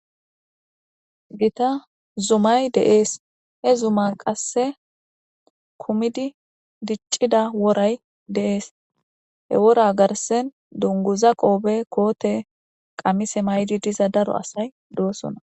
Gita zuma de'es. He zuma qase kumidi dic'ida woray de'es. He wora garsan dunguza qoope, koote, wanize mayidi diza asati de'osona.